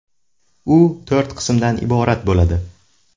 U to‘rt qismdan iborat bo‘ladi.